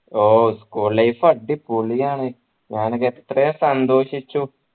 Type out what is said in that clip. ഓഹ് school life അടിപൊളിയാണ് ഞാനൊക്കെ എത്രയോ സന്തോഷിച്ചു